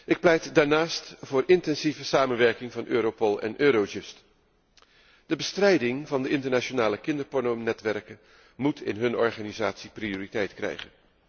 Ik pleit daarnaast voor intensieve samenwerking van Europol en Eurojust. De bestrijding van de internationale kinderpornonetwerken moet in hun organisatie prioriteit krijgen.